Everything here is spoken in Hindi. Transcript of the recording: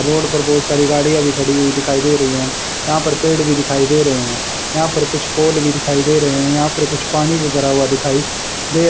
रोड पर बहुत सारी गाड़ियां भी खड़ी हुई दिखाई दे रही है यहां पर पेड़ भी दिखाई दे रहे हैं यहां पर कुछ पोल भी दिखाई दे रहे हैं यहां पर कुछ पानी भी भरा हुआ दिखाई दे--